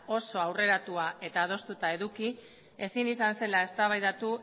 oso aurreratua eduki ezin izan zela eztabaidatu